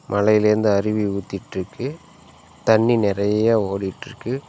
மலைலிருந்து அருவி ஊத்திட்ருக்கு தண்ணி நெறையா ஓடிட்ருக்கு.